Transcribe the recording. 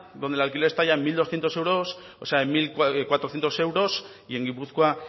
donde el alquiler está ya en mil doscientos euros o sea en mil cuatrocientos euros y en gipuzkoa